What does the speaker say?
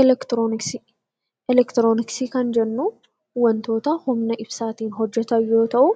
Eleektirooniksii Eleektirooniksii kan jennuu, waantota humna ibsaatiin hojjetan yoo ta'u,